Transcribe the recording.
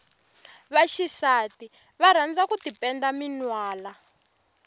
va xisati va rhandza ku tipenda minwana